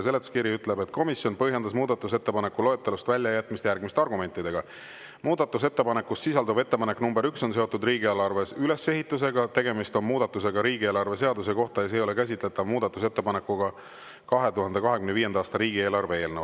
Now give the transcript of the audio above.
Seletuskiri ütleb: "Komisjon põhjendas muudatusettepaneku loetelust välja jätmist järgmiste argumentidega: 1) Muudatusettepanekus sisalduv ettepanek nr 1 on seotud riigieelarve ülesehitusega, tegemist on muudatusega riigieelarve seaduse kohta ja see ei ole käsitletav muudatusettepanekuna 2025. aasta riigieelarve eelnõule.